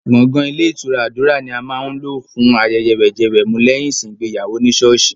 Gbọ̀ngàn Ilé ìtura Àdúrà ni a máa ń lò ilé fún ayẹyẹ wẹ̀jẹwẹ̀mu lẹ́yìn ìsìn ìgbéyàwó ní sọ́ọ̀sì.